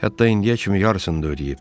Hətta indiyə kimi yarısını da ödəyib.